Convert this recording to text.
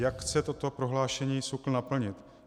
Jak chce toto prohlášení SÚKL naplnit?